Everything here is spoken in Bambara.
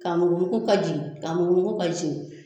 Ka mugumugu ka jigin ka mugumugu ka jigin.